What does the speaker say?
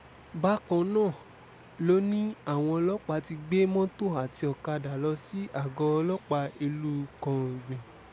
bákan náà ló ní àwọn ọlọ́pàá ti gbé mọ́tò àti ọ̀kadà lọ sí àgọ́ ọlọ́pàá ìlúu kàǹgbì